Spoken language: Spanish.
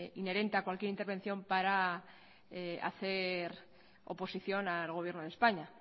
inherente a cualquier intervención para hacer oposición al gobierno de españa